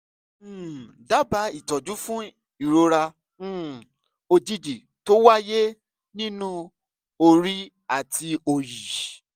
um dábàá ìtọ́jú fún ìrora um òjijì tó wáyé nínú orí àti òòyì